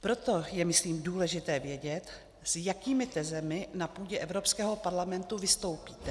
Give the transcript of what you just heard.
Proto je, myslím, důležité vědět, s jakými tezemi na půdě Evropského parlamentu vystoupíte.